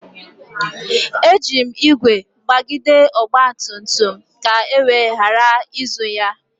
Eji m ígwè gbagide ọgba tum tum m ka e wee ghara izu ya.